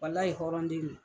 Walahi hɔrɔn den no.